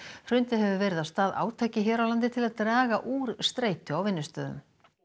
hrundið hefur verið af stað átaki hér á landi til að draga úr streitu á vinnustöðum